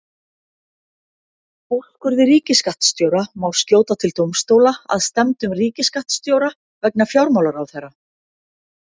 Úrskurði ríkisskattstjóra má skjóta til dómstóla að stefndum ríkisskattstjóra vegna fjármálaráðherra.